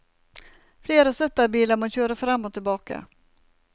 Flere søppelbiler må kjøre frem og tilbake.